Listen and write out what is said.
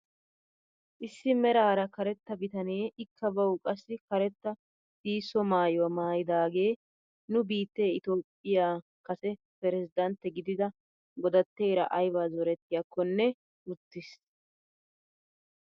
Issi meraara karetta bitanee ika bawu qassi karetta sihisso maayuwaa maayidagee nu biittee itoophphiyaa kase peresidantte gidida godatteeraaybaa zorettiyaakonne uttiis.